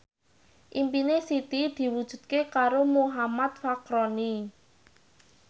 impine Siti diwujudke karo Muhammad Fachroni